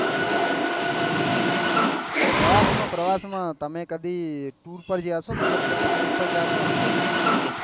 પ્રવાસ માં પ્રવાસ માં તમે કદી ટુર માં ગયા છો મતલબ picnic પર ગયો છો એમ કહું છું સ્કૂલ ની